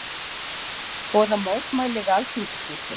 Boða mótmæli við Alþingishúsið